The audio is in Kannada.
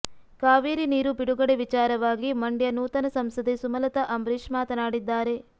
ಕಾವೇರಿ ನೀರು ಬಿಡುಗಡೆ ವಿಚಾರವಾಗಿ ಮಂಡ್ಯ ನೂತನ ಸಂಸದೆ ಸುಮಲತಾ ಅಂಬರೀಷ್ ಮಾತನಾಡಿದ್ದಾರೆ